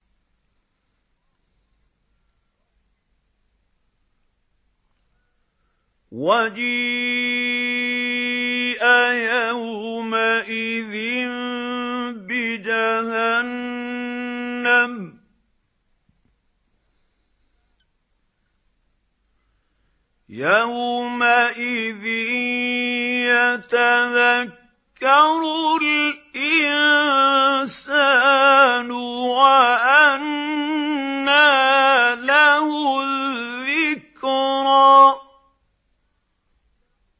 وَجِيءَ يَوْمَئِذٍ بِجَهَنَّمَ ۚ يَوْمَئِذٍ يَتَذَكَّرُ الْإِنسَانُ وَأَنَّىٰ لَهُ الذِّكْرَىٰ